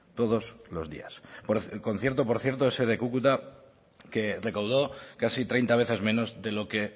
todos los días el concierto por cierto ese de cúcuta que recaudó casi treinta veces menos de lo que